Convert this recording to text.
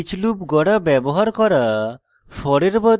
each loop গড়া ব্যবহার করা